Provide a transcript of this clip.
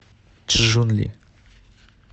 чжунли